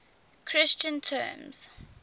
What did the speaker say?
christian terms